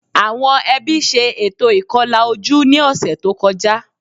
Àwọn ẹbí ṣe ètò ìkọlà ojú ní ọ̀sẹ̀ tó kọjá